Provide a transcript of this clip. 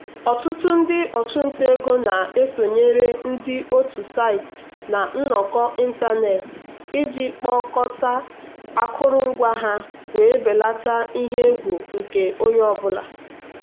ọtụtụ ndị ọchụnta ego na-esonyere ndị otu site na nnọkọ ịntanetị iji kpokọta akụrụngwa ha wee belata ihe egwu nke onye ọ bụla.